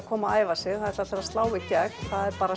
koma og æfa sig það ætla allir að slá í gegn það er bara